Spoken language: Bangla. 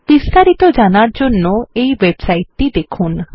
বিস্তারিত জানার জন্য এই ওয়েবসাইট টি দেখুন